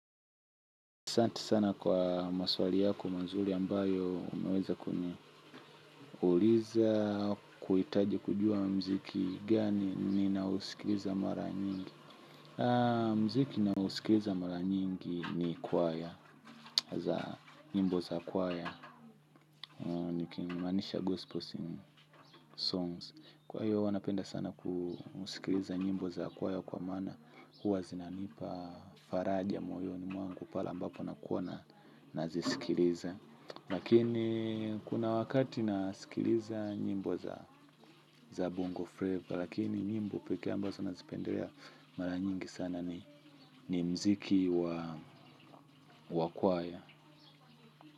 Santi sana kwa maswali yako mazuri ambayo umeweza kuniuliza kuhitaji kujua mziki gani ni nao usikiliza mara nyingi. Muziki ninaousikiliza mara nyingi ni kwaya, za nyimbo za kwaya. Niki maanisha gospel songs. Kwa hiyo huwanapenda sana kusikiliza nyimbo za kwaya kwa maana huwa zinanipa faraja moyoni mwangu pale ambapo nakuwa nazisikiliza. Lakini kuna wakati na sikiliza nyimbo za bongo flavor. Lakini nyimbo peke ambazo na zipendelea mara nyingi sana ni muziki wa kwaya.